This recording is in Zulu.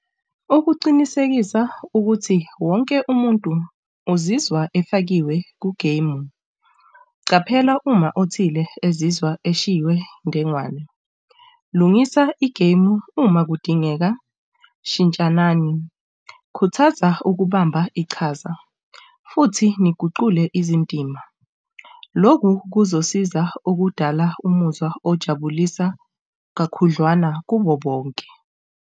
Ukuqinisekisa ukuthi wonke umuntu uzizwa efakiwe kugemu. Qaphela, uma othile ezizwa eshiywe ndengane. Lungisa igemu uma kudingeka shintshanani, khuthaza ukubamba iqhaza futhi niguqule izindima. Loku kuzosiza ukudala umuzwa ojabulisa kakhudlwana kubo bonke.